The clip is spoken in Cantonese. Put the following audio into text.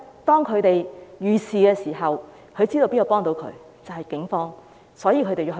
當他們遇事的時候，知道警方可以幫助他們，所以才會報案。